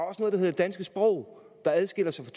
hedder det danske sprog der adskiller sig